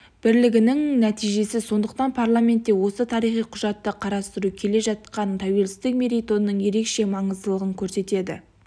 бірлігінің нәтижесі сондықтан парламентте осы тарихи құжатты қарастыру келе жатқан тәуелсіздік мерейтойының ерекше маңыздылығын көрсетеді